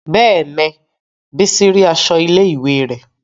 Bẹ́ẹ̀ni, bísí rí aṣọ ilé ìwé rẹ̀